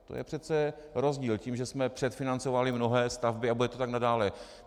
To je přece rozdíl, tím, že jsme předfinancovali mnohé stavby, a bude to tak nadále.